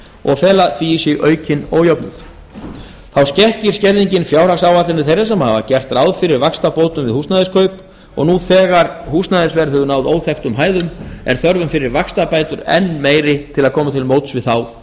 og fela því í sér aukinn ójöfnuð þá skekkir skerðingin fjárhagsáætlanir þeirra sem hafa gert ráð fyrir vaxtabótum við húsnæðiskaup og nú þegar húsnæðisverð hefur náð óþekktum hæðum er þörfin fyrir vaxtabætur enn meiri til að koma til móts við þá